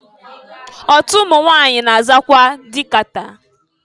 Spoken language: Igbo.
Otu ụmụnwanyị na-azakwa dị kata.